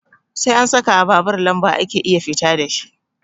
Sai an sakawa babur lamba ake iya fita dashi